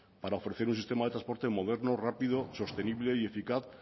para ofrecer un sistema de transporte moderno rápido sostenible y eficaz